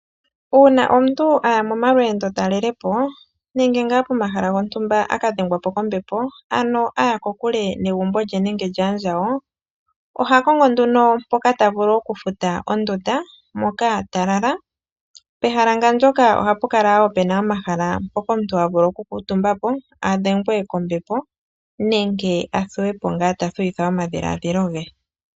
Uuna omuntu a ya momalweendotalelepo, nenge ngaa pomahala gontumba a ka dhengwa po kombepo, ano a ya kokule negumbo lye nenge lyaandjawo, oha kongo nduno mpoka ta vulu okufuta ondunda, moka ta lala. Pehala ngandyoka ohapu kala wo pe na omahala mpoka omuntu ha vulu okukuutumba po, a dhengwe kombepo, nenge a thuwe po ngaa ta thuwitha omadhiladhilo ge.